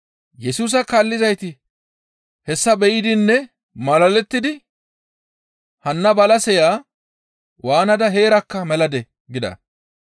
Yesusa kaallizayti hessa be7idinne malalettidi, «Hanna balaseya waanada heerakka meladee?» gida.